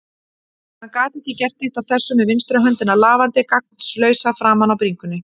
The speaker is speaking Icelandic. Hann gat ekki gert neitt af þessu með vinstri höndina lafandi gagnslausa framan á bringunni.